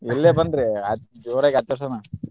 ಇಲ್ಲೆ ಬನ್ರಿ ಜೋರಾಗಿ ಆಚರ್ಸೋಣ.